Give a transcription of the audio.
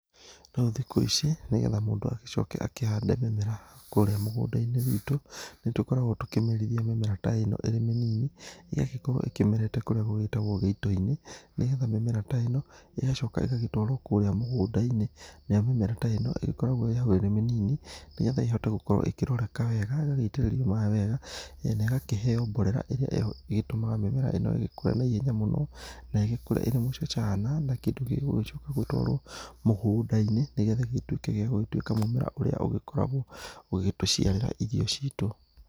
Rĩu thikũ ici nĩgetha mũndũ agĩcoke akĩhande mĩmera kũrĩa mũgũnda-inĩ gwĩtũ, nĩtũkoragwo tũkĩmerithia mĩmera ta ĩno ĩrĩ mĩnini, ĩgagĩkorwo ĩkĩmerete kũrĩa gũgĩtagwo gĩito-inĩ. Nĩgetha mĩmera ta ĩno ĩgagĩcoka ĩgagĩtwarwo kũrĩa mũgũnda-inĩ, nĩamu mĩmera ta ĩno ĩgĩkoragwo ĩrĩ mĩnini, nĩgetha ĩgĩkorwo ĩkĩroreka wega, ĩgagĩitĩrĩrio maaĩ wega na ĩkaheo mborera ĩrĩa ĩgĩtũmaga mĩmera ĩno ĩgĩkũre na ihenya mũno, na ĩgĩkũre ĩrĩ mũcacana na kĩndũ gĩgũgĩcoka gũtwarwo mũgũndai-nĩ gĩgĩkorwo gĩgĩtuĩka mũmera ũrĩa ũgĩkoragwo ũgĩtũciarĩra irio citũ.